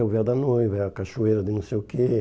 É o véu da noiva, é a cachoeira de não sei o quê.